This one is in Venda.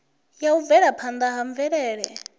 ya u bvelaphanda ha mvelele